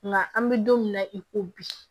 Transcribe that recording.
Nka an bɛ don min na i ko bi